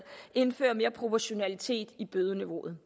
indføre mere proportionalitet i bødeniveauet